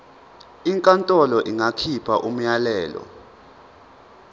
inkantolo ingakhipha umyalelo